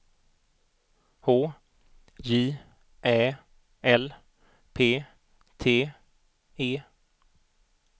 H J Ä L P T E